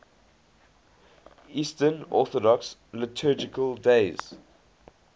eastern orthodox liturgical days